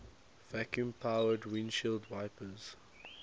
vacuum powered windshield wipers